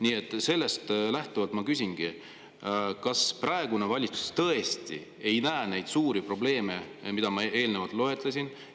Nii et sellest lähtuvalt ma küsingi: kas praegune valitsus tõesti ei näe neid suuri probleeme, mida ma eelnevalt loetlesin?